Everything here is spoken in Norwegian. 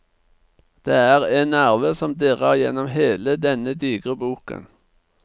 Det er en nerve som dirrer gjennom hele denne digre boken.